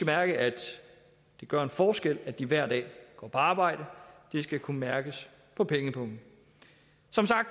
mærke at det gør en forskel at de hver dag går på arbejde det skal kunne mærkes på pengepungen